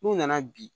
N'u nana bi